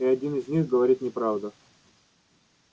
и один из них говорит неправду